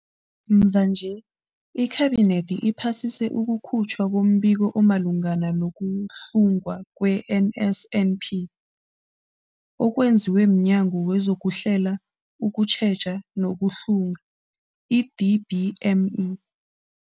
Mvanje, iKhabinethi iphasise ukukhutjhwa kombiko omalungana nokuhlungwa kwe-NSNP okwenziwe mNyango wezokuHlela, ukuTjheja nokuHlunga, i-DPME.